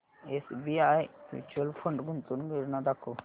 SBI mutual fund गुंतवणूक योजना दाखव